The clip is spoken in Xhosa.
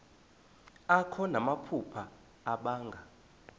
akho namaphupha abanga